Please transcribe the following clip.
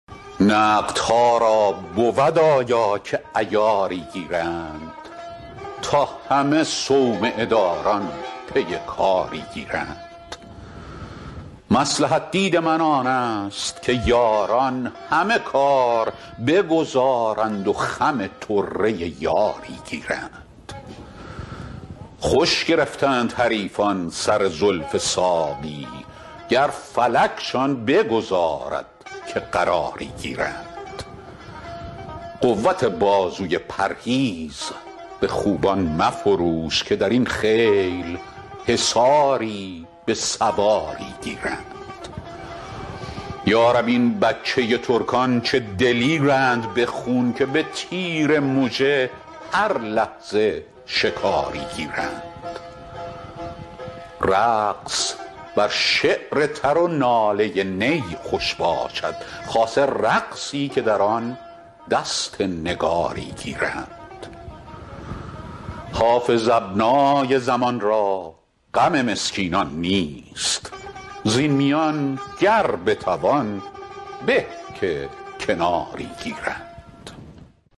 نقدها را بود آیا که عیاری گیرند تا همه صومعه داران پی کاری گیرند مصلحت دید من آن است که یاران همه کار بگذارند و خم طره یاری گیرند خوش گرفتند حریفان سر زلف ساقی گر فلکشان بگذارد که قراری گیرند قوت بازوی پرهیز به خوبان مفروش که در این خیل حصاری به سواری گیرند یا رب این بچه ترکان چه دلیرند به خون که به تیر مژه هر لحظه شکاری گیرند رقص بر شعر تر و ناله نی خوش باشد خاصه رقصی که در آن دست نگاری گیرند حافظ ابنای زمان را غم مسکینان نیست زین میان گر بتوان به که کناری گیرند